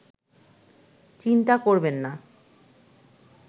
চিন্তা করবেন না